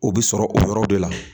O bɛ sɔrɔ o yɔrɔ de la